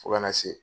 Fo kana se